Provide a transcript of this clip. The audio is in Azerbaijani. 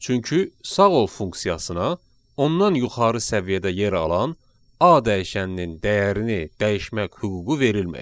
Çünki sağ ol funksiyasına ondan yuxarı səviyyədə yer alan A dəyişəninin dəyərini dəyişmək hüququ verilməyib.